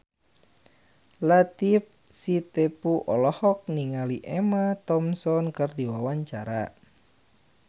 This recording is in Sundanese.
Latief Sitepu olohok ningali Emma Thompson keur diwawancara